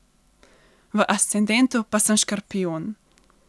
V ascendentu pa sem škorpijon.